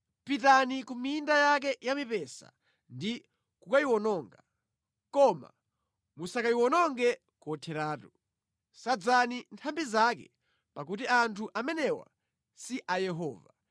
“Pitani ku minda yake ya mipesa ndi kukayiwononga, koma musakayiwononge kotheratu. Sadzani nthambi zake pakuti anthu amenewa si a Yehova.